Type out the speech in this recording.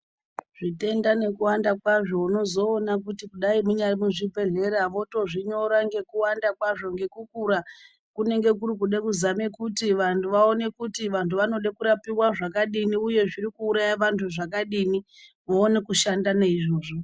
Zvitenda neku wanda kwazvo unozoona kuti kudai munyari mu zvibhedhlera voto zvinyora ngeku wanda kwazvo ngeku kura kunenge kuri kuda kuzame kuti vantu vaone kuti vantu vanode kurapiwa zvakadini uye zviri kuuraya vantu zvakadini voone kushanda ne izvozvo.